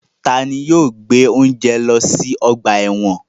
Tani yóò gbe ounje lọ si ọgba ẹ́wọ̀n?